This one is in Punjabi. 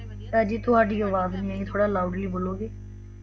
ਅੱਜਿ ਤੁਹਾਡੀ ਆਵਾਜ਼ ਨਹੀ ਆਈ ਥੋੜਾ loudly ਬੋਲੋਗੇ